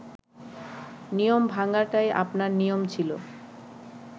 নিয়ম ভাঙাটাই আপনার নিয়ম ছিল